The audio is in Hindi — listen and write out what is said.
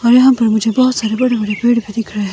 और यहां पर मुझे बहुत सारे बड़े बड़े पेड़ भी दिख रहे हैं।